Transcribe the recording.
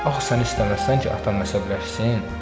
Axı sən istəməzsən ki, atan əsəbləşsin?